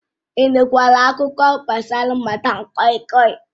Ị nụkwara akụkọ gbasara madam koi koi?